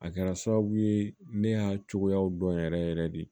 A kɛra sababu ye ne y'a cogoyaw dɔn yɛrɛ yɛrɛ de